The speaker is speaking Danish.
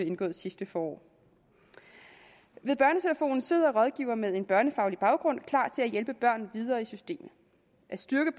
indgået sidste forår ved børnetelefonen sidder rådgivere med en børnefaglig baggrund klar til at hjælpe børn videre i systemet at styrke